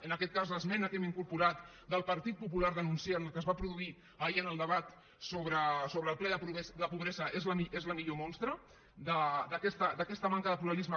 en aquest cas l’esmena que hem incorporat del partit popular denunciant el que es va produir ahir en el debat sobre el ple de pobresa és la millor mostra d’aquesta manca de pluralisme